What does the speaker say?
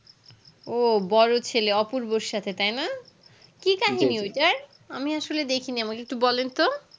ও বড়ো ছেলে অপুর বো সাথে তাই না কি কাহিনী ওইটার আমি আসলে দেখিনি আমাকে একটু বলেন তো